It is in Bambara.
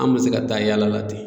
An bɛ se ka taa yaala la ten